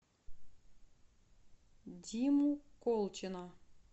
диму колчина